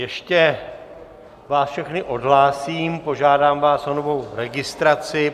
Ještě vás všechny odhlásím, požádám vás o novou registraci.